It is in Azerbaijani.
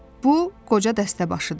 Bu qoca dəstəbaşıdır.